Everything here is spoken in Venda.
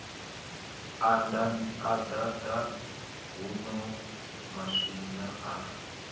a ḓaḓa huno maswina a